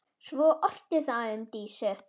Svo orti það um Dísu.